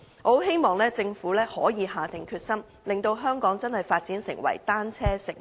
我希望政府可以下定決心，令香港真的可以發展成為單車友善城市。